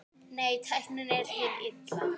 Nei, tæknin er hið illa.